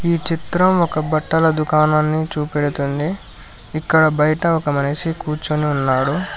ఈ చిత్రం ఒక బట్టల దుకాణాన్ని చూపెడుతుంది ఇక్కడ బయట ఒక మనిషి కూర్చుని ఉన్నాడు.